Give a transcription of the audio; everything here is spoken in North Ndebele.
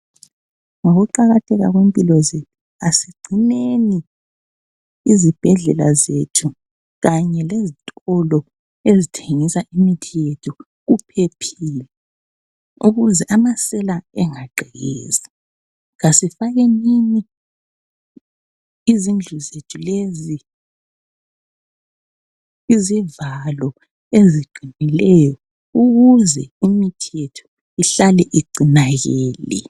Ngokuqakatheka kwempilo zethu asigcineni izibhedlela zethu kanye lezitolo ezithengisa imithi yethu kuphephile ukuze amasela angagqekezi. Asifakenini izindlu zethu lezi izivalo eziqinileyo ukuze imithi yethu ihlale igcinakele.